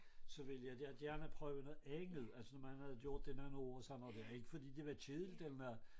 Så vil jeg da gerne prøve noget andet altså når man havde gjort det i nogle år og sådan noget dér ikke fordi det var kedeligt eller noget